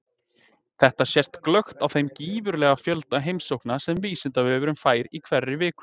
Þetta sést glöggt á þeim gífurlega fjölda heimsókna sem Vísindavefurinn fær í hverri viku.